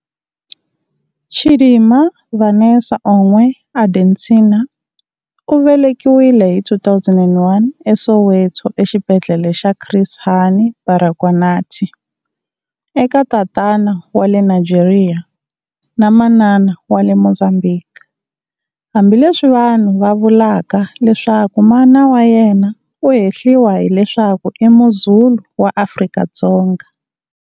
Chidimma Vanessa Onwe Adetshina u velekiwile hi 2001 eSoweto exibedhlele xa Chris Hani Baragwanath, eka tatana wa le Nigeria, na manana wa le Mozambique, hambi leswi vanhu va vulaka leswaku mana wa yena u hehliwa hi leswaku i Muzulu wa Afrika-Dzonga.